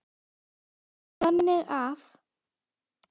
þannig að